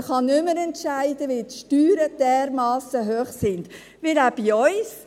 Man kann nicht mehr entscheiden, weil die Steuern dermassen hoch sind, auch bei uns.